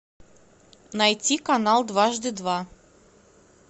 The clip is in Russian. найти канал дважды два